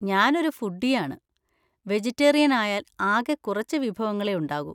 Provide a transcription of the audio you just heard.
ഞാനൊരു ഫുഡീ ആണ്, വെജിറ്റേറിയൻ ആയാൽ ആകെ കുറച്ച് വിഭവങ്ങളേ ഉണ്ടാകൂ.